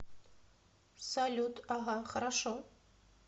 салют ага хорошо